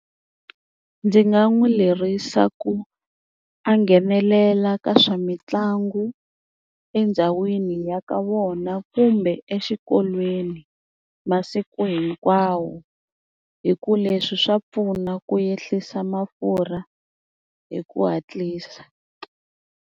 Ndzi nga n'wi lerisa ku a nghenelela ka swa mitlangu endhawini ya ka vona kumbe exikolweni masiku hinkwawo hi ku leswi swa pfuna ku ehlisa mafurha hi ku hatlisa.